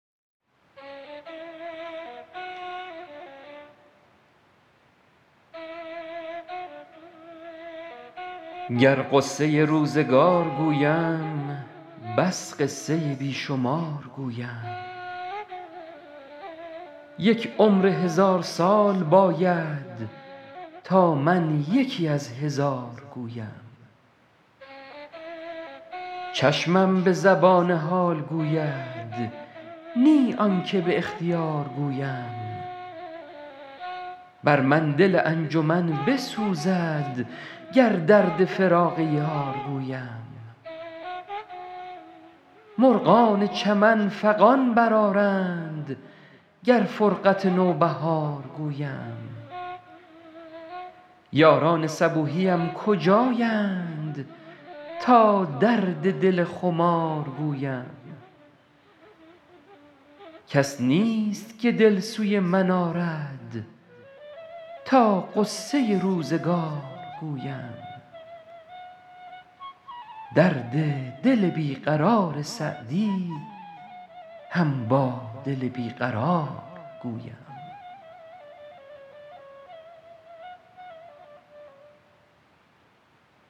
گر غصه روزگار گویم بس قصه بی شمار گویم یک عمر هزار سال باید تا من یکی از هزار گویم چشمم به زبان حال گوید نی آن که به اختیار گویم بر من دل انجمن بسوزد گر درد فراق یار گویم مرغان چمن فغان برآرند گر فرقت نوبهار گویم یاران صبوحیم کجایند تا درد دل خمار گویم کس نیست که دل سوی من آرد تا غصه روزگار گویم درد دل بی قرار سعدی هم با دل بی قرار گویم